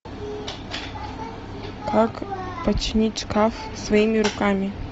как починить шкаф своими руками